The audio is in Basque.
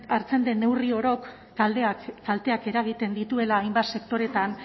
hartzen den neurri orok kalteak eragiten dituela hainbat sektoretan